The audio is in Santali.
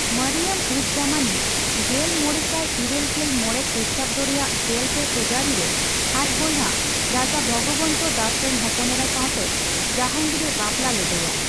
ᱢᱚᱨᱤᱭᱚᱢᱼᱩᱡᱼᱡᱟᱢᱟᱱᱤ ᱜᱮᱞ ᱢᱚᱲᱮ ᱥᱟᱭ ᱤᱨᱟᱹᱞ ᱜᱮᱞ ᱢᱚᱲᱮ ᱠᱷᱤᱴᱟᱵᱫᱚ ᱨᱮᱭᱟᱜ ᱜᱮᱞᱯᱮ ᱯᱷᱤᱵᱨᱟᱣᱨᱤ ᱨᱮ ᱟᱡ ᱵᱚᱭᱦᱟ ᱨᱟᱡᱟ ᱵᱷᱚᱜᱚᱵᱚᱱᱛ ᱫᱟᱥ ᱨᱮᱱ ᱦᱚᱯᱚᱱᱮᱨᱟ ᱥᱟᱣᱛᱮ ᱡᱟᱦᱟᱝᱜᱤᱨᱮ ᱵᱟᱯᱞᱟ ᱞᱮᱫᱮᱭᱟ ᱾